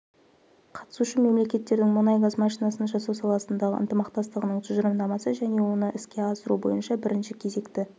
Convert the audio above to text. қатысушы мемлекеттердің мұнай-газ машинасын жасау саласындағы ынтымақтастығының тұжырымдамасы және оны іске асыру бойынша бірінші кезекті